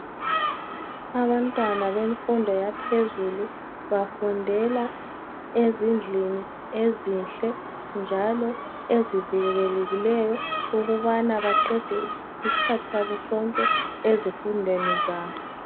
Abantwana bemfundo yaphezulu bafundela ezimdlini ezimdle njalo ezivikelekileyo ukubana baqede isikhathi sabo sonke ezifundweni zabo.